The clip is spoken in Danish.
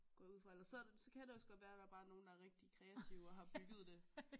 Går jeg ud fra ellers så så kan det også godt være der bare er nogle der er rigtigt kreative og har bygget det